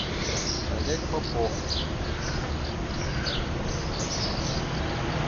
олег попов